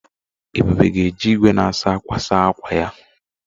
Ebube ga eji igwe na-asa ákwà saa ákwà ya.